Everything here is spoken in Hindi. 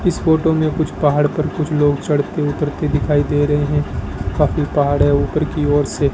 इस फोटो में कुछ पहाड़ पर कुछ लोग चढ़ते उतरते दिखाई दे रहे है काफी पहाड़ है ऊपर की ओर से --